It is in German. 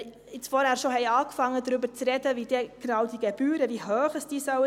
Wenn wir vorhin schon begonnen haben, darüber zu sprechen, wie hoch diese Gebühren sein sollen;